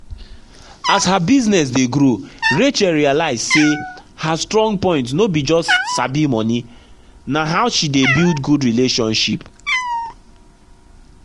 as her business dey grow rachel realize say her strong point no be just sabi money—na how she dey build good relationship.